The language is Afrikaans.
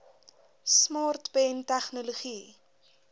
smart pen tegnologie